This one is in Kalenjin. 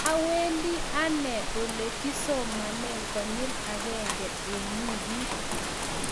Awendi anne ole kisomane konyil agenge eng wikit